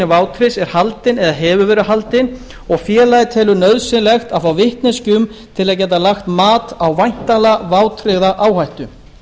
vátryggðs er haldinn eða hefur verið haldinn og félagið telur nauðsynlegt að fá vitneskju um til að geta lagt mat á væntanlega vátryggða áhættu